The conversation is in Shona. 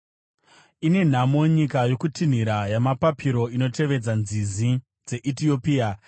Ine nhamo nyika yokutinhira kwamapapiro inotevedza nzizi dzeEtiopia,